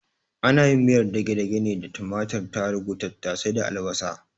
Ana yin miyar dagedage ne da tumatur, tarugu, tattase da albasa